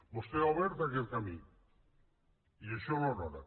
vostè ha obert aquest camí i això l’honora